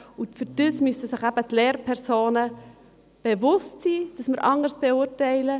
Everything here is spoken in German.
Hierfür müssen sich eben die Lehrpersonen bewusst sein, dass sie anders beurteilen.